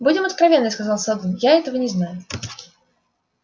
будем откровенны сказал сэлдон я этого не знаю